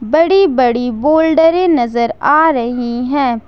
बड़ी बड़ी बोल्डरे नजर आ रही है ।